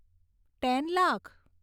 ten lakh